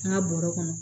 N ka bɔrɔ kɔnɔ